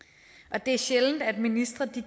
ja det er sjældent at ministre